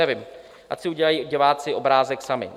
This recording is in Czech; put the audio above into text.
Nevím, ať si udělají diváci obrázek sami.